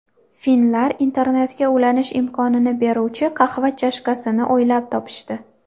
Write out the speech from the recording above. Finnlar internetga ulanish imkonini beruvchi qahva chashkasini o‘ylab topishdi.